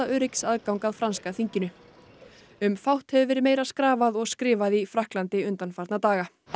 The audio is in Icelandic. öryggisaðgang að franska þinginu um fátt hefur verið meira skrafað og skrifað í Frakklandi undanfarna daga það